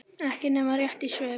Ekki nema rétt í svip.